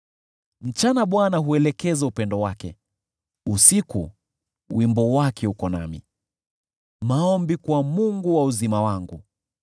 Mchana Bwana huelekeza upendo wake, usiku wimbo wake uko nami: maombi kwa Mungu wa uzima wangu.